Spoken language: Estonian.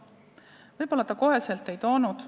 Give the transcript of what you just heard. Võib-olla ta otsekohe ei toonud.